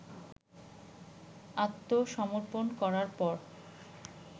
আত্মসমর্পন করার পর